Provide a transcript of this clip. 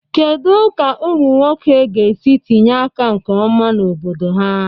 Kedu ka ụmụ nwoke ga-esi tinye aka nke ọma na obodo ha?